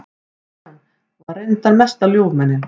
Kristján var reyndar mesta ljúfmenni.